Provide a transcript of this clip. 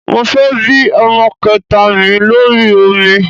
Mo fẹ́ bí ọmọ kẹta mi lórí omi